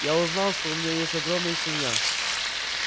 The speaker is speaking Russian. я узнал что у меня есть огромная семья